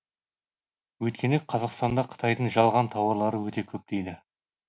өйткені қазақстанда қытайдың жалған тауарлары өте көп дейді